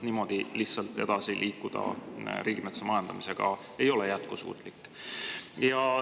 Niimoodi lihtsalt riigimetsa majandamisega edasi liikuda ei ole jätkusuutlik.